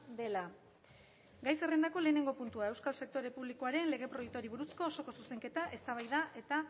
dela gai zerrendako lehenengo puntua euskal sektore publikoaren lege proiektuari buruzko osoko zuzenketa eztabaida eta